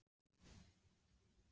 Hefði deildin endað á annan veg?